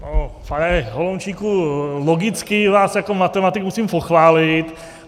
Pane Holomčíku, logicky vás jako matematik musím pochválit.